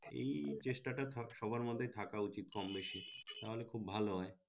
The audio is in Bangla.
এই চেষ্টা টা সবার মধ্যে থাকা উচিৎ কম বেশি তা হলে খুব ভালো হয়।